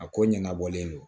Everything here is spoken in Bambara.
A ko ɲɛnabɔlen don